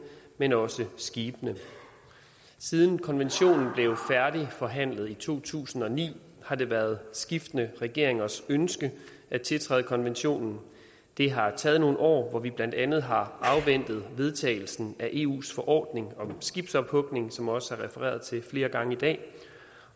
men også til skibene siden konventionen blev færdigforhandlet i to tusind og ni har det været skiftende regeringers ønske at tiltræde konventionen det har taget nogle år hvor vi blandt andet har afventet vedtagelsen af eus forordning om skibsophugning som der også er refereret til flere gange i dag